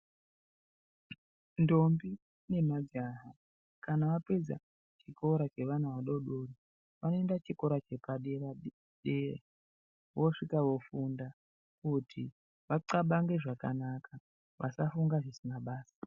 Ntombi nemajaha, kana vapedza chikora chevana vadodori vanoenda chikora chepa deradera, voswika vofunda kuti vaxabange zvakanaka, vasafunga zvisina basa.